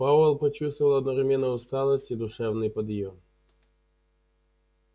пауэлл почувствовал одновременно усталость и душевный подъем